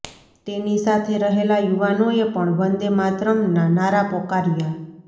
તેની સાથે રહેલા યુવાનોએ પણ વંદે માતરમ્ના નારા પોકાર્યા